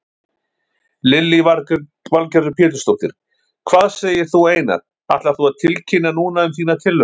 Lillý Valgerður Pétursdóttir: Hvað segir þú Einar, ætlar þú að tilkynna núna um þína tillögu?